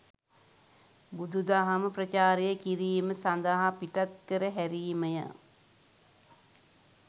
බුදුදහම ප්‍රචාරය කිරීම සඳහා පිටත්කර හැරීමය.